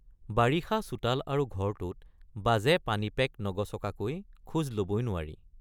বাৰিষা চোতাল আৰু ঘৰটোত বাজে পানীপেক নগচকাগৈ খোজ লবই নোৱাৰি।